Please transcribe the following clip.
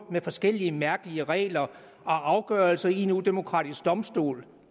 med forskellige mærkelige regler og afgørelser i en udemokratisk domstol